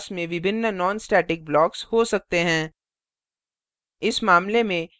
हमारे पास class में विभिन्न nonstatic blocks हो सकते हैं